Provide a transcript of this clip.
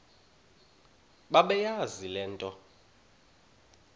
bebeyazi le nto